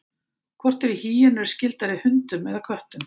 hvort eru hýenur skyldari hundum eða köttum